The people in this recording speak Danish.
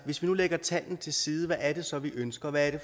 hvis vi nu lægger tallene til side hvad er det så vi ønsker hvad er det